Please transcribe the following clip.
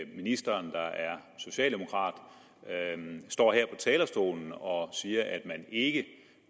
ministeren der er socialdemokrat står her på talerstolen og siger at man ikke